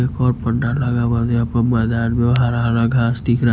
एक और पंडाल लगा म--मैदान में हरा-हरा घास दिख रहा है।